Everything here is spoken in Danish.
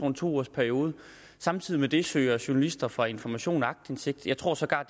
en to ugers periode samtidig søger journalister fra information aktindsigt jeg tror sågar at